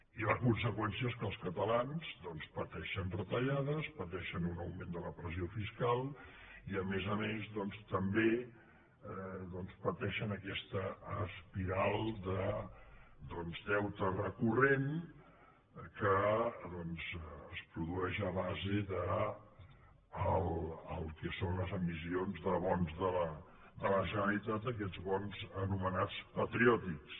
i la conseqüència és que els catalans doncs pateixen retallades pateixen un augment de la pressió fiscal i a més a més també pateixen aquesta espiral de deute recurrent que es produeix a base del que són les emissions de bons de la generalitat aquests bons anomenats patriòtics